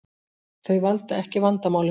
Þau valda ekki vandamálinu